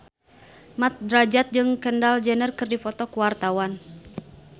Mat Drajat jeung Kendall Jenner keur dipoto ku wartawan